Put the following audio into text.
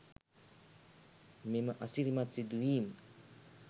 මෙම අසිරිමත් සිදුවීම්